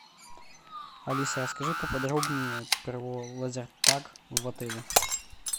алиса расскажи поподробнее про лазертаг в отеле